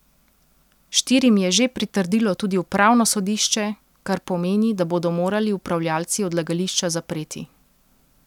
Štirim je že pritrdilo tudi upravno sodišče, kar pomeni, da bodo morali upravljavci odlagališča zapreti.